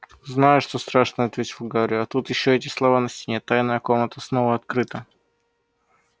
знаю что страшно ответил гарри а тут ещё эти слова на стене тайная комната снова открыта